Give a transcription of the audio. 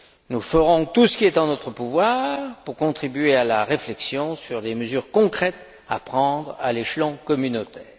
Nous ferons tout ce qui est en notre pouvoir pour contribuer à la réflexion sur les mesures concrètes à prendre à l'échelon communautaire.